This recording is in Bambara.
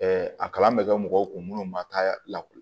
a kalan bɛ kɛ mɔgɔw kun munnu ma taa lakɔli